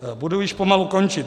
Budu již pomalu končit.